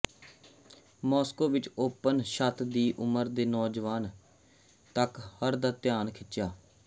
Moscow ਵਿੱਚ open ਛੱਤ ਦੀ ਉਮਰ ਦੇ ਨੌਜਵਾਨ ਤੱਕ ਹਰ ਦਾ ਧਿਆਨ ਖਿੱਚਿਆ